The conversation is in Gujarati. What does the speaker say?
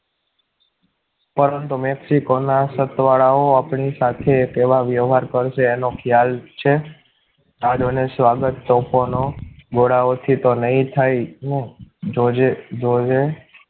પરંતુ મેક્સિકોના સતવારાઓ આપણી સાથે તેવા વ્યવહાર કરશે એનો ખ્યાલ છે આ ડોનેશો આગળ તોફાનો ગોળાઓથી તો નહીં જ થાય ને જોજે જોજે